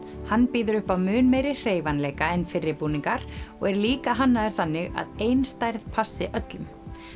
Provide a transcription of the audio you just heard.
hann býður upp á mun meiri hreyfanleika en fyrri búningar og er líka hannaður þannig að ein stærð passi öllum